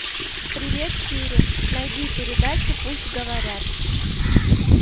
привет сири найди передачу пусть говорят